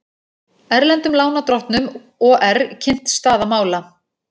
Erlendum lánardrottnum OR kynnt staða mála